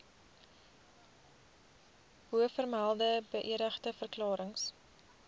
bovermelde beëdigde verklarings